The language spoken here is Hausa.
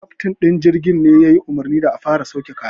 Keftin din jirgin ne ya yi umarni da a fara sauke kayan.